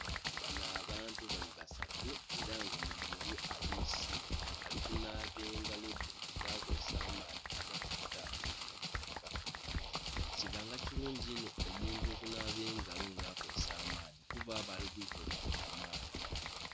Bano abantu bali basatu ela nga buli omu ali mu sinki, ali kunaaba engalo dhe nga akozesa amaadhi agava ku taapu nga gayuyika. Kibanga kilungi inho omuntu okunaaba engalo nga akozesa amaadhi kuba aba ali kwita obughuka kamaala.